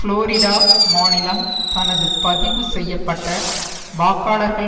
Florida மாநிலம் தனது பதிவு செய்ய பட்ட வாக்காளர்கள்